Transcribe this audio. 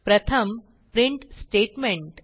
प्रथम print statement